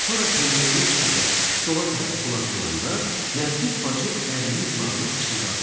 Sonra pençəyini çıxarıb stola tərəf tullayanda Nərgiz bacı ərinin qulağına pıçıldadı.